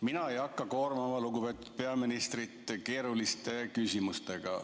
Mina ei hakka koormama lugupeetud peaministrit keeruliste küsimustega.